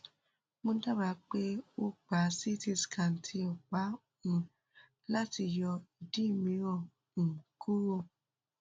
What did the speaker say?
mo dábàá pé o gba ct scan tí o pa um lati yọ idi miiran um kuro